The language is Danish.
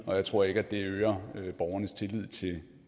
og jeg tror ikke det øger borgernes tillid til